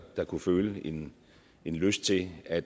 der kunne føle en en lyst til at